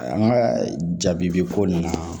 An ka jaabi bi ko ninnu na